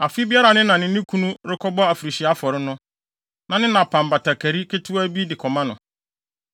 Afe biara a ne na ne ne kunu rekɔbɔ afirihyia afɔre no, na ne na pam batakari ketewaa bi de kɔma no.